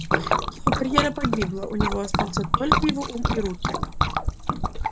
его карьера погибла у него остался только его ум и руки